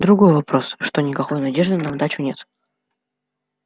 другой вопрос что никакой надежды на удачу нет